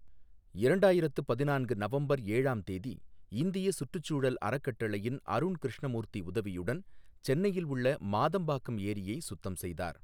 இரண்டாயிரத்து பதினான்கு நவம்பர் ஏழாம் தேதி இந்திய சுற்றுச்சூழல் அறக்கட்டளையின் அருண் கிருஷ்ணமூர்த்தி உதவியுடன் சென்னையில் உள்ள மாதம்பாக்கம் ஏரியை சுத்தம் செய்தார்.